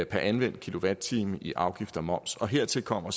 anvendt kilowatt time i afgift og moms og hertil kommer